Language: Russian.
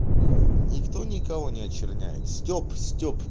никто никого не очерняет стёб стёб